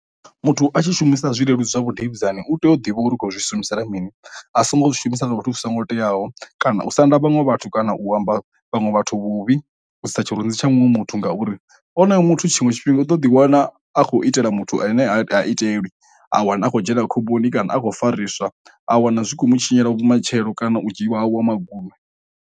Muthu a tshi shumisa zwileludzi zwa vhudavhidzani u tea u ḓivha uri u khou zwi humisela mini a songo zwi shumisa nga vhathu zwi songo teaho, kana u sa nda vhaṅwe vhathu kana u amba vhaṅwe vhathu vhuvhi u sa tsheloni dzi tsha muṅwe muthu uri oyo muthu tshiṅwe tshifhinga u ḓo ḓi wana a khou itela muthu ane a itelwi, a wana a kho dzhiela khomboni kana a khou fariswa a wana zwi khomu tshinyela vhumatshelo kana u dzhiwa ha wa magunwe.